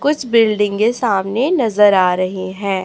कुछ बिल्डिंगे सामने नजर आ रहीं हैं